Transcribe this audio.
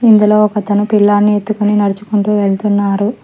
ఇందులో ఒక తన పిల్లని ఎత్తుకొని నడుచుకుంటూ వెళ్తున్నారు.